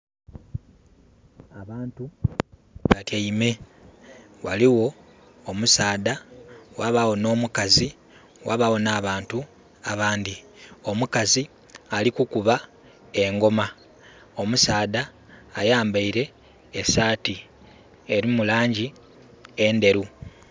Abantu batyaime. Waliwo omusaadha wabawo no mukazi wabawo n'abantu abandi. Omukazi ali kukuba engoma. Omusaadha ayambaire esaati erimu langi endheru